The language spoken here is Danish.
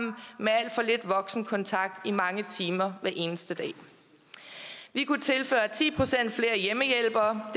med alt for lidt voksenkontakt i mange timer hver eneste dag vi kunne tilføre ti procent flere hjemmehjælpere